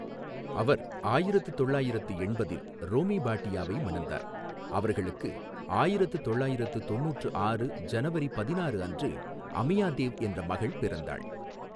அவர் ஆயிரத்து தொள்ளாயிறத்து எண்பதில் ரோமி பாட்டியாவை மணந்தார், அவர்களுக்கு ஆயிரத்து தொள்ளாயிறத்து தொண்ணூற்று ஆறு ஜனவரி பதினாறு அன்று அமியா தேவ் என்ற மகள் பிறந்தாள்.